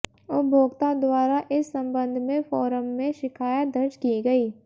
उपभोक्ता द्वारा इस संबंध में फोरम में शिकायत दर्ज की गई